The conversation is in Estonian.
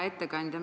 Hea ettekandja!